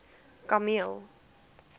kameel